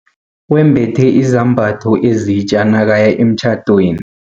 Wembethe izambatho ezitja nakaya emtjhadweni.